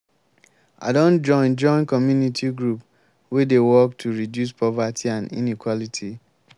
i don join join community group wey dey work to reduce poverty and inequality.